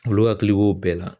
Olu hakili b'o bɛɛ la